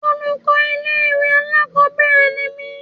Olùkọ́ ilé ìwé alákòbẹ̀rẹ̀ ni mí.